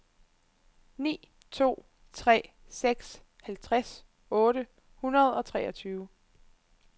ni to tre seks halvtreds otte hundrede og treogtyve